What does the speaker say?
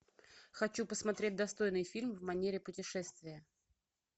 хочу посмотреть достойный фильм в манере путешествия